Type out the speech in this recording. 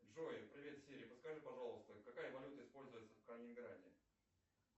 джой привет сири подскажи пожалуйста какая валюта используется в калининграде